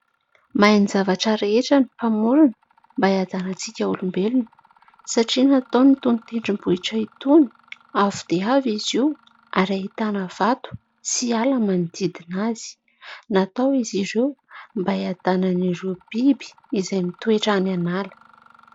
Mahay ny zavatra rehetra ny mpamorona mba hiadanan-tsika olombelona satria nataony itony tendrom-bohitra itony avo dia avo izy io ary ahitana vato sy ala manodidina azy. Natao izy ireo mba hiadanan'ireo biby izay mitoetra any an'ala.